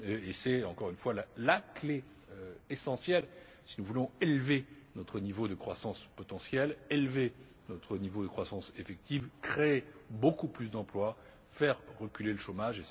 C'est encore une fois la clé essentielle si nous voulons élever notre niveau de croissance potentielle, élever notre niveau de croissance effective, créer beaucoup plus d'emplois, faire reculer le chômage.